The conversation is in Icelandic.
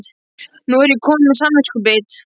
Nú er ég komin með samviskubit.